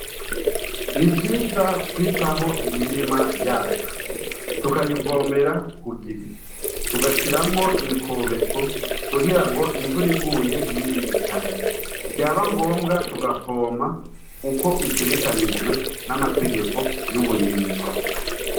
Ni vyiza kwitaho imirima yacu tukayibomera ku gihe tugashiramwo imikobeko kugira ngo imvura iguye n'iyibihitane vyaba ngombwa tugapompa ukwo bitegekanijwe n'amategeko y'uburimyi.